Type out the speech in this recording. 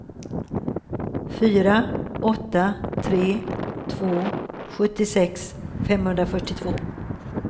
fyra åtta tre två sjuttiosex femhundrafyrtiotvå